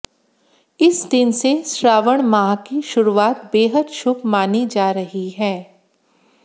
इस दिन से श्रावण माह की शुरुआत बेहद शुभ मानी जा रही है